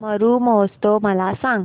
मरु महोत्सव मला सांग